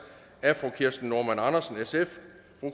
af kirsten normann andersen